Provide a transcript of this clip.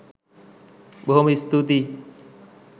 බොහෝම ස්තුතියි